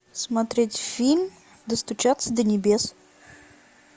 смотреть фильм достучаться до небес